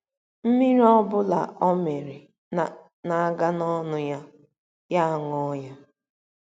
Mmiri ọ bụla ọ mịịrị na - aga n’ọnụ ya, ya aṅụọ ya.